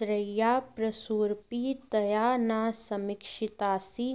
त्र्य्याः प्रसूरपि तया न समीक्षितासि